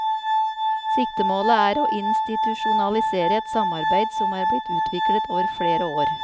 Siktemålet er å institusjonalisere et samarbeid som er blitt utviklet over flereår.